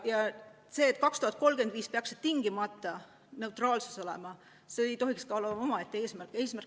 Ja see, et aastaks 2035 peaks tingimata neutraalsus olema, ei tohiks olla omaette eesmärk.